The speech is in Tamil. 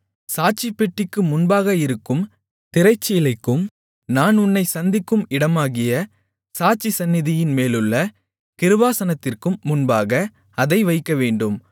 சாட்சிப்பெட்டிக்கு முன்பாக இருக்கும் திரைச்சீலைக்கும் நான் உன்னைச் சந்திக்கும் இடமாகிய சாட்சி சந்நிதியின்மேலுள்ள கிருபாசனத்திற்கும் முன்பாக அதை வைக்கவேண்டும்